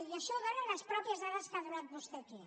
i així ho donen les mateixes dades que ha donat vostè aquí